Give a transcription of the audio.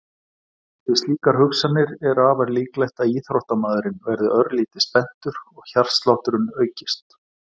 Við slíkar hugsanir er afar líklegt að íþróttamaðurinn verði örlítið spenntur og hjartslátturinn aukist.